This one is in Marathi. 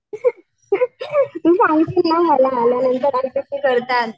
करतात.